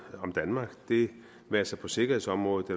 om danmark det være sig på sikkerhedsområdet på